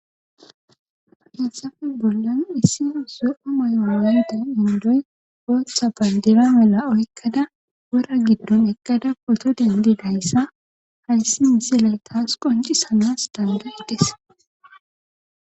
Hesafe bollan issi zo7o mayoowayden indoy gootha bandira mela oykkada wora giddon eqqada poto dendi dayssa hayssi misiley taas qonci sanas dandaides